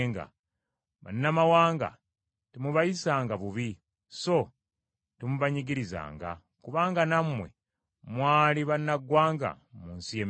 “Bannamawanga temubayisanga bubi, so temubanyigirizanga, kubanga nammwe mwali bannaggwanga mu nsi y’e Misiri.